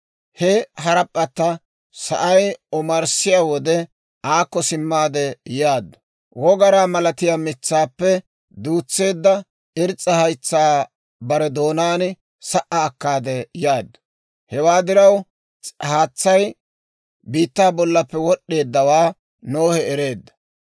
He harap'p'atta sa'ay omarssiyaa wode aakko simmaade yaaddu; wogaraa malatiyaa mitsaappe duutseedda irs's'a haytsaa bare doonaan sa"a akkaade yaaddu. Hewaa diraw, haatsay biittaa bollappe wod'd'eeddawaa Nohe ereedda.